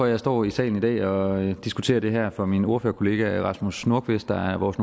jeg står i salen i dag og diskuterer det her for min ordførerkollega herre rasmus nordqvist der er vores